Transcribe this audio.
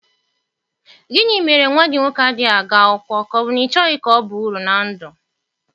Gịnị mere nwa gị nwoke adịghị aga akwụkwọ, ka ọ bụ na ị chọghị ka ọ baa uru na ndụ?